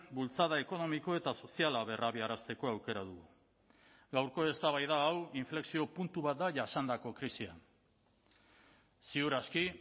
bultzada ekonomiko eta soziala berrabiarazteko aukera dugu gaurko eztabaida hau inflexio puntu bat da jasandako krisian ziur aski